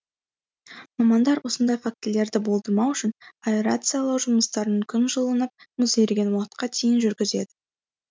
мамандар осындай фактілерді болдырмау үшін аэрациялау жұмыстарын күн жылынып мұз еріген уақытқа дейін жүргізеді